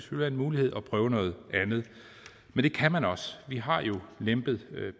være en mulighed at prøve noget andet men det kan man også vi har jo lempet